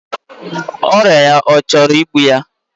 Oria ya ochoro igbu ya?